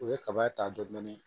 U ye kaba ta dɔɔnin dɔɔnin